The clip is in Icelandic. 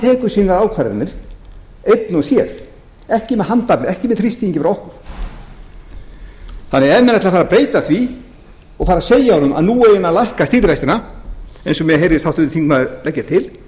tekur sínar ákvarðanir einn og sér ekki með handafli ekki með þrýstingi frá okkur þannig að ef menn ætla að fara að beita því og fara að segja honum að nú eigi hann að fara að lækka stýrivextina eins og mér heyrðist háttvirtur þingmaður leggja til